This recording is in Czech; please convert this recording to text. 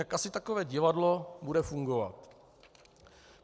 Jak asi takové divadlo bude fungovat?